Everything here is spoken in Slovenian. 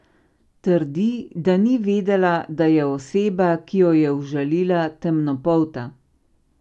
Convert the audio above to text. Trdi, da ni vedela, da je oseba, ki jo je užalila, temnopolta.